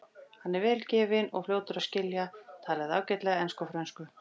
Hann var vel gefinn og fljótur að skilja, talaði ágætlega ensku og frönsku.